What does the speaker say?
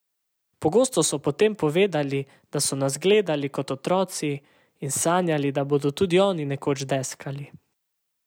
Pogosto so potem povedali, da so nas gledali kot otroci in sanjali, da bodo tudi oni nekoč deskali.